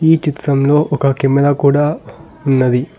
ఈ చిత్రంలో ఒక కెమెరా కూడా ఉన్నది.